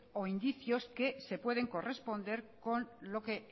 o indicios que se pueden corresponder con lo que